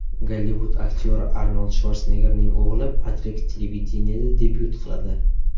Gollivud aktyori Arnold Shvarseneggerning o‘g‘li Patrik televideniyeda debyut qiladi.